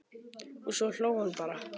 Og svo hló hún bara.